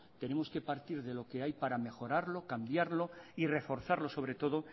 tenemos que partir de lo que hay para mejorarlo cambiarlo y reforzarlo sobre todo